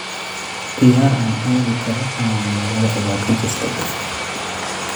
Ciyaar aan aadi karo caawa magaalada ayaa ka jirta